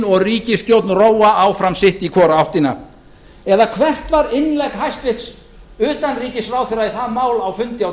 og ríkisstjórn róa áfram sitt í hvora áttina eða hvert var innlegg hæstvirts utanríkisráðherra í það mál á fundi á dögunum